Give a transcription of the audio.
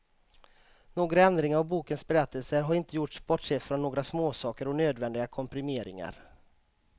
Några ändringar av bokens berättelse har inte gjorts bortsett från några småsaker och nödvändiga komprimeringar.